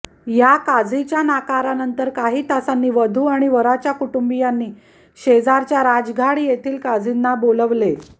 या काझीच्या नकारानंतर काही तासांनी वधू आणि वराच्या कुटुंबियांनी शेजारच्या राजघाड येथील काझींना बोलावले